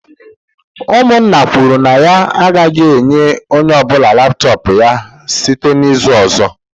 Umunna kwuru na ya agaghi enye onye obula laptop ya site n'izu ozo